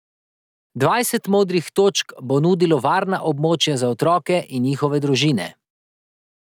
Dvajset Modrih točk bo nudilo varna območja za otroke in njihove družine.